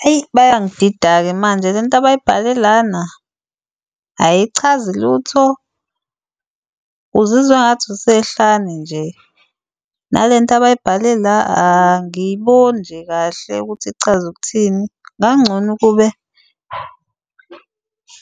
Hayi, bayangidida-ke manje le nto abayibhale lana ayichazi lutho, uzizwa ngathi usehlane nje. Nale nto abayibhale la angiyiboni nje kahle ukuthi ichaza ukuthini. Ngangcono ukube